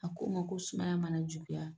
A ko n ma ko sumaya bana juguyala.